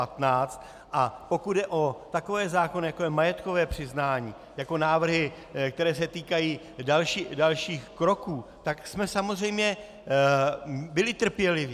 A pokud jde o takové zákony, jako je majetkové přiznání, jako návrhy, které se týkají dalších kroků, tak jsme samozřejmě byli trpěliví.